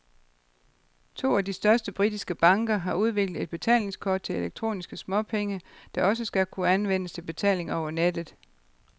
To af de største britiske banker har udviklet et betalingskort til elektroniske småpenge, der også skal kunne anvendes til betaling over nettet.